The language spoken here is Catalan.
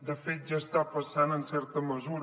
de fet ja està passant en certa mesura